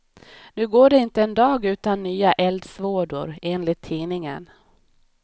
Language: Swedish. Nu går det inte en dag utan nya eldsvådor, enligt tidningen.